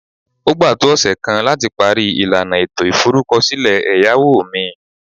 O gba to ose kan lati pari ilana eto iforukosile eyawo mi